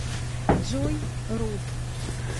джой рут